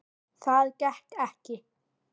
Það gekk ekki